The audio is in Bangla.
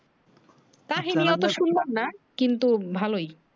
কাহিনী অত সুন্দর না কিন্তু ভালোই